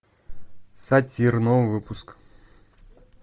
сатир новый выпуск